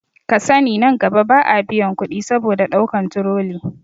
Kasani nan gaba ba a biyan kuɗi saboda ɗaukan turoli